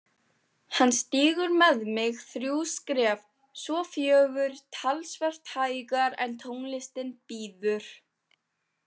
Hann stígur með mig þrjú skref, svo fjögur, talsvert hægar en tónlistin býður.